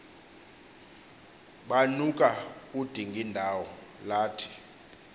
banuka udingindawo lathi